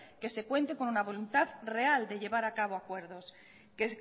que se cuente con la voluntad real de llevar acabo acuerdos que